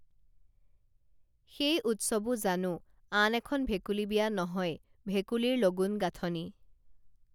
সেই উৎসৱো জানো আন এখন ভেকুলী বিয়া নহয় ভেকুলীৰ লগুণ গাঁথনি